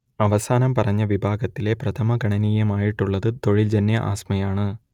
അവസാനം പറഞ്ഞ വിഭാഗത്തിലെ പ്രഥമഗണനീയമായിട്ടുള്ളത് തൊഴിൽജന്യ ആസ്മയാണ്